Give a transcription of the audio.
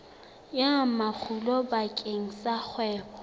ya makgulo bakeng sa kgwebo